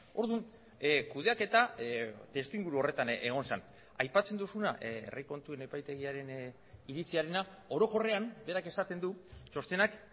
orduan kudeaketa testuinguru horretan egon zen aipatzen duzuna herri kontuen epaitegiaren iritziarena orokorrean berak esaten du txostenak